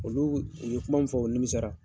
Olu u ye kuma min fɔ o nimisara.